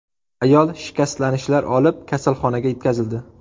Ayol shikastlanishlar olib, kasalxonaga yetkazildi.